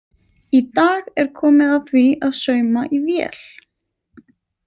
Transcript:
Í dag er komið að því að sauma í vél.